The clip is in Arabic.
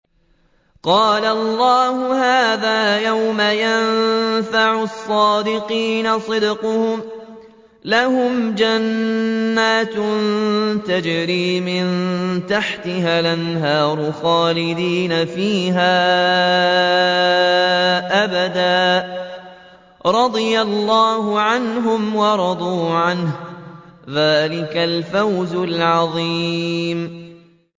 قَالَ اللَّهُ هَٰذَا يَوْمُ يَنفَعُ الصَّادِقِينَ صِدْقُهُمْ ۚ لَهُمْ جَنَّاتٌ تَجْرِي مِن تَحْتِهَا الْأَنْهَارُ خَالِدِينَ فِيهَا أَبَدًا ۚ رَّضِيَ اللَّهُ عَنْهُمْ وَرَضُوا عَنْهُ ۚ ذَٰلِكَ الْفَوْزُ الْعَظِيمُ